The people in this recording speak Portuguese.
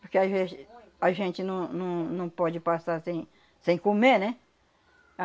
Porque às vezes a gente não não não pode passar sem sem comer, né?